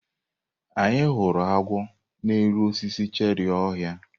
Anyị hụrụ agwọ n'elu osisi cherị ọhịa.